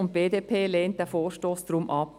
Deshalb lehnt die BDP diesen Vorstoss ab.